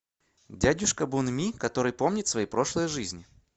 дядюшка бунми который помнит свои прошлые жизни